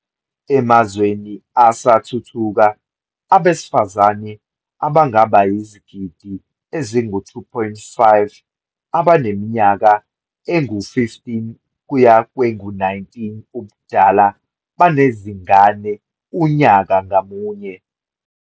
Emazweni asathuthuka, abesifazane abangaba yizigidi ezingu-2.5 abaneminyaka engu-15 kuya kwengu-19 ubudala banezingane unyaka ngamunye.